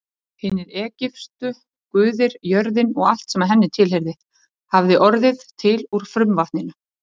Hinir egypsku guðir, jörðin og allt sem henni tilheyrði, hafði orðið til úr frumvatninu.